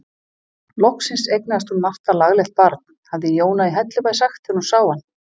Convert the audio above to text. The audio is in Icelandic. Loksins eignaðist hún Marta laglegt barn, hafði Jóna í Hellubæ sagt þegar hún sá hann.